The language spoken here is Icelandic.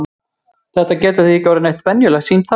Þetta getur því ekki orðið neitt venjulegt símtal!